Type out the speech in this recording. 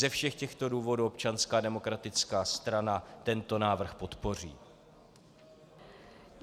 Ze všech těchto důvodů Občanská demokratická strana tento návrh podpoří.